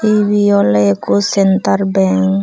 ebey oley ikko sentar bank.